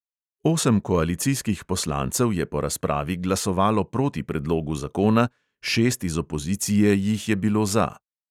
Osem koalicijskih poslancev je po razpravi glasovalo proti predlogu zakona, šest iz opozicije jih je bilo za.